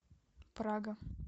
прага